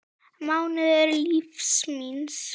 mánuður lífs míns.